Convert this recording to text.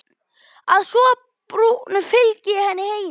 Að svo búnu fylgdi ég henni heim.